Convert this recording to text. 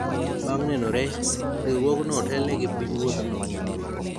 bang' nenore, riwruogno otelne gi piny ruodhno